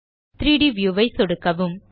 3ட் வியூ ஐ சொடுக்கவும்